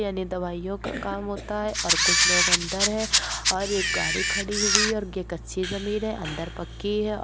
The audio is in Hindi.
यानी दवाइयों का काम होता हैं और कुछ लोग अंदर है और एक गाड़ी खड़ी हुई हैं और ये कच्ची जमीन है अंदर पक्की हैं औ --